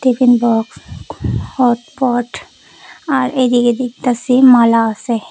Tiffin box hotpot আর এদিকে দেখতাসি মালা আসে।